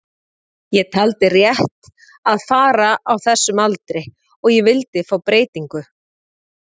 Ég taldi rétt að fara á þessum aldri og ég vildi fá breytingu.